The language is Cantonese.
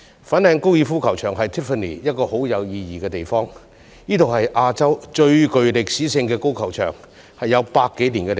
粉嶺高爾夫球場對 Tiffany 很有意義，亦是亞洲最具歷史的高爾夫球場，已有100多年歷史。